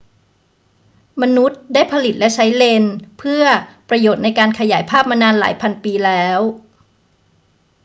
มนุษย์ได้ผลิตและใช้เลนส์เพื่อประโยชน์ในการขยายภาพมานานหลายพันปีแล้ว